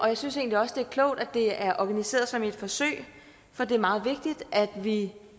jeg synes egentlig også det er klogt at det er organiseret som et forsøg for det er meget vigtigt at vi